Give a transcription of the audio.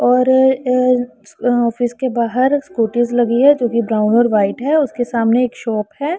और ऑफिस के बाहर स्कूटीज लगी है जो कि ब्राउन और व्हाइट है। उसके सामने एक शॉप है।